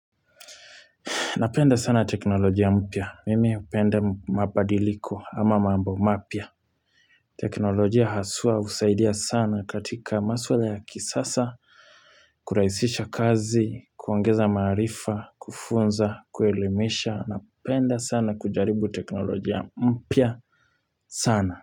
Napenda sana teknolojia mpya. Mimi hupenda mabadiliko ama mambo mapya. Teknolojia haswa husaidia sana katika maswala ya kisasa, kurahisisha kazi, kuongeza maarifa, kufunza, kuelimisha. Napenda sana kujaribu teknolojia mpia sana.